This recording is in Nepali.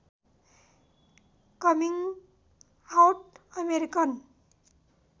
coming out American